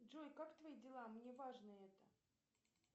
джой как твои дела мне важно это